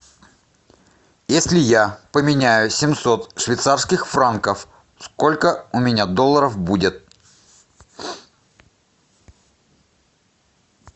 если я поменяю семьсот швейцарских франков сколько у меня долларов будет